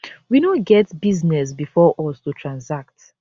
we no get business bifor us to transact